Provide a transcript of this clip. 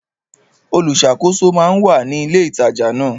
Olùṣàkóso máa ń wà ní ilé ìtajà ńlá.